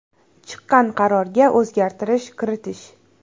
Chiqqan qarorga o‘zgartirish kiritish.